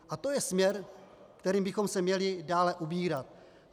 A to je směr, kterým bychom se měli dále ubírat.